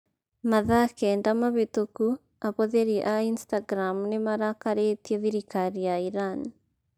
Mathaa kenda mahĩtũku ahũthĩri a Instagram nĩ marakarĩtie thirikari ya Iran.